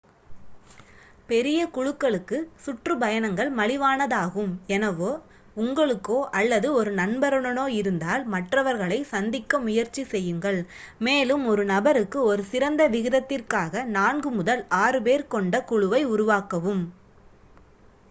பெரிய குழுக்களுக்கு சுற்றுப்பயணங்கள் மலிவானதாகும் எனவே உங்களுக்கோ அல்லது ஒரு நண்பருடனோ இருந்தால் மற்றவர்களைச் சந்திக்க முயற்சி செய்யுங்கள் மேலும் ஒரு நபருக்கு ஒரு சிறந்த விகிதத்திற்காக நான்கு முதல் ஆறு பேர் கொண்ட குழுவை உருவாக்கவும்